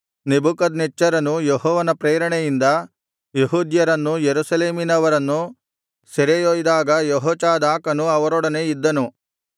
ನೆಬೂಕದ್ನೆಚ್ಚರನು ಯೆಹೋವನ ಪ್ರೇರಣೆಯಿಂದ ಯೆಹೂದ್ಯರನ್ನೂ ಯೆರೂಸಲೇಮಿನವರನ್ನೂ ಸೆರೆಯೊಯ್ದಾಗ ಯೆಹೋಚಾದಾಕನು ಅವರೊಡನೆ ಇದ್ದನು